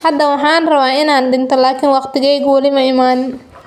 "Hadda waxaan rabaa inaan dhinto, laakiin waqtigaygu weli ma iman."